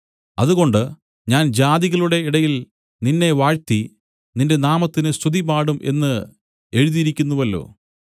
അതുകൊണ്ട് ഞാൻ ജാതികളുടെ ഇടയിൽ നിന്നെ വാഴ്ത്തി നിന്റെ നാമത്തിന് സ്തുതിപാടും എന്നു എഴുതിയിരിക്കുന്നുവല്ലോ